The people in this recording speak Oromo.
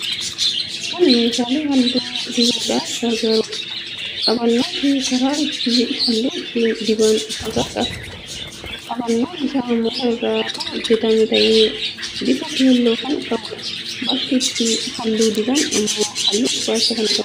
Kun meeshaa halluu dibuudhaaf gargaarudha. Qabannoo fi karaa ittiin halluu ittiin diban ofirraa qaba. Qabannoon isaa muka irraa kan hojjetame ta'ee bifa keelloo kan qabudha. Bakki ittiin halluu diban immoo halluu gurraacha qaba.